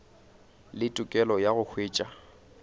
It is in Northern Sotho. le tokelo ya go hwetša